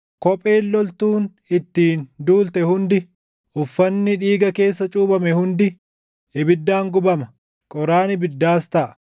Kopheen loltuun ittiin duulte hundi, uffanni dhiiga keessa cuuphame hundi ibiddaan gubama; qoraan ibiddaas taʼa.